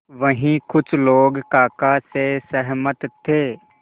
वहीं कुछ लोग काका से सहमत थे